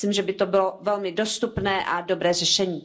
Myslím, že by to bylo velmi dostupné a dobré řešení.